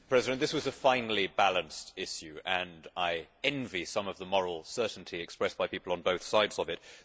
Mr President, this was a finely balanced issue, and I envy some of the moral certainty expressed by people on both sides of it.